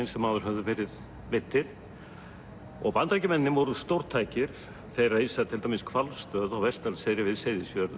sem áður höfðu verið veiddir og Bandaríkjamennirnir voru stórtækir þeir reisa til dæmis hvalstöð á Vestdalseyri við Seyðisfjörð